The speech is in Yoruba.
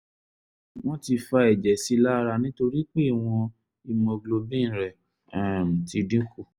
wọ́n ti fa ẹ̀jẹ̀ sí ẹ lára nítorí pé ìwọ̀n hemoglobin rẹ um ti dín kù